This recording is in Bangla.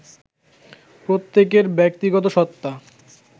প্রত্যেকের ব্যক্তিগত সত্তা